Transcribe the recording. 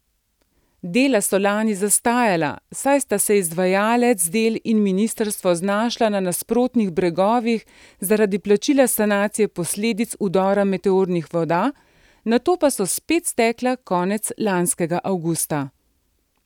Dela so lani zastala, saj sta se izvajalec del in ministrstvo znašla na nasprotnih bregovih zaradi plačila sanacije posledic vdora meteornih voda, nato pa so spet stekla konec lanskega avgusta.